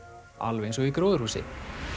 alveg eins og í gróðurhúsi